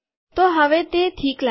તો હવે તે ઠીક લાગે છે